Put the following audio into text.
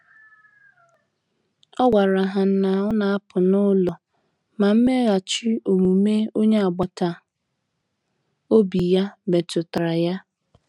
O gwara ha na ọ na-apụ n’ụlọ, ma mmeghachi omume onye agbata obi ya metu tara ya.